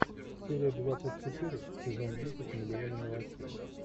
серия двадцать четыре сезон десять миллионы мелочей